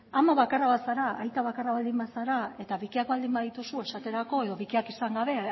ama bakarra bazara aita bakarra baldin bazara eta bikiak baldin badituzu esaterako edo bikiak izan gabe